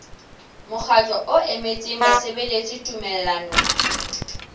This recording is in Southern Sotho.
mokgatlo o emetseng basebeletsi tumellanong